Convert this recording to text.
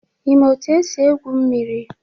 Ị maa etu esi egwu mmiri?